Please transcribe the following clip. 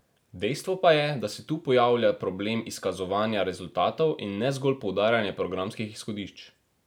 Dejstvo pa je, da se tu pojavlja problem izkazovanja rezultatov, in ne zgolj poudarjanja programskih izhodišč.